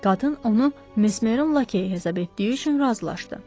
Qadın onu Mesmerin lakeyi hesab etdiyi üçün razılaşdı.